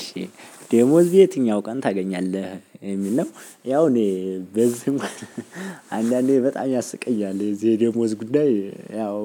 እሺ ደሞዝ የትኛው ቀን ታገኛለህ የሚል ነው ያው እኔ በዚህ አንዳንዴ በጣም ያስቀኛል የዚህ የደሞዝ ጉዳይ ያው